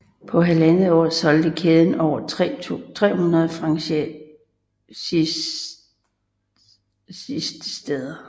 På halvandet år solgte kæden over 300 franchisesteder